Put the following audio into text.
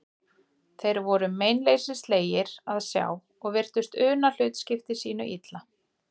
Þeir voru meinleysislegir að sjá og virtust una hlutskipti sínu illa.